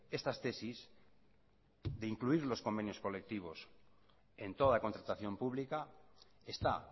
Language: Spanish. estas tesis de incluir los convenios colectivos en toda contratación pública está